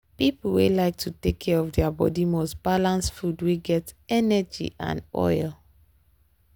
people wey like to take care of their body must balance food wey get energy and oil.